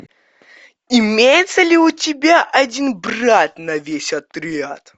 имеется ли у тебя один брат на весь отряд